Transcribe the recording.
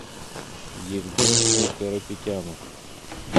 евгению карапетяну